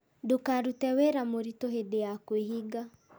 Ndũkarute wĩra mũritũ hĩndĩ ya kwĩhinga